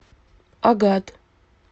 агат